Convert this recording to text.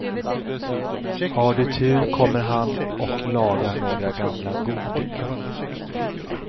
Har du tur kommer han och lagar några gamla godingar.